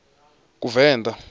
kuvenḓa